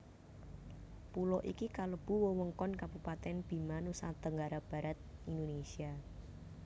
Pulo iki kalebu wewengkon Kabupatèn Bima Nusa Tenggara Barat Indonesia